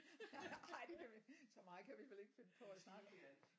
Ej det kan vi så meget kan vi vel ikke finde på at snakke om